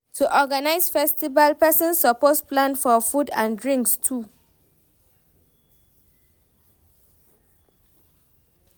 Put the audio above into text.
To Organize festival persin suppose plan for food and drinks too